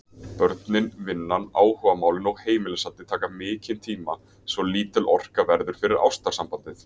Börnin, vinnan, áhugamálin og heimilishaldið taka mikinn tíma svo lítil orka verður eftir fyrir ástarsambandið.